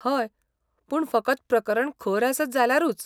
हय, पूण फकत प्रकरण खर आसत जाल्यारूच.